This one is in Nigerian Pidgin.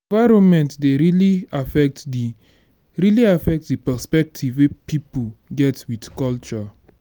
environment dey really affect di really affect di perspective wey pipo get with culture